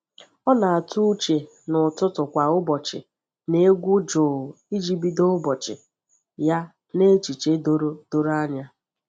Ọ na-atụ uche n’ụtụtụ kwa ụbọchị na egwu jụụ iji bido ụbọchị ya n’echiche doro doro anya.